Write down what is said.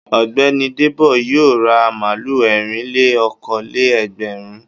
Ọ̀gbẹ́ni Débò yóò ra màlúù ẹ̀rìn-lé-okòó-lé-ẹgbẹ̀rún.